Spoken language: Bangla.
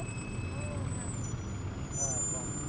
হ্যাঁ কমি।